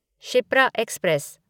Shipra express